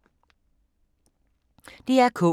DR K